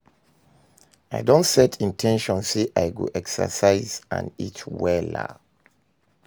I don set in ten tion say i go exercise and eat wella.